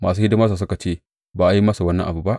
Masu hidimarsa suka ce, Ba a yi masa wani abu ba.